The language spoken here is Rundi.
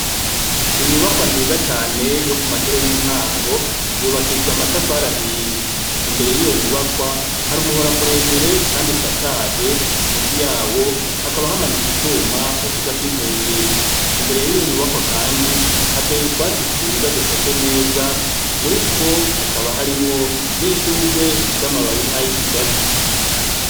Inyubakwa nziza cane yo ku mashure y' intango yubakishij' amatafar' ahiye, imbere yiyo nyubakwa har' umuhora muremure kand' usakaye, munsi yawo hakaba hamanits' icuma bavuza kwinkengeri, imbere yiyo nyubakwa kandi hatey' utwatsi twiza dusashe neza, muritwo hakaba harimwo n' ishurwe rifis' amababi nkay' ikigazi.